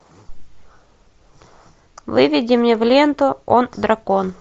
выведи мне в ленту он дракон